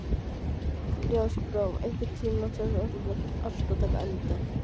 Ljósbrá, einhvern tímann þarf allt að taka enda.